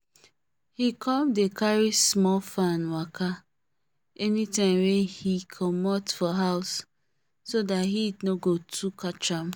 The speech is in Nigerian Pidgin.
he come dey carry small fan waka anytime wey he comot for house so that heat no go too catcham